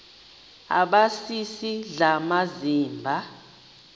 aba sisidl amazimba